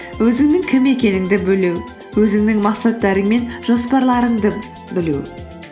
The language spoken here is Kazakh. өзіңнің кім екеніңді білу өзіңнің мақсаттарың мен жоспарларыңды білу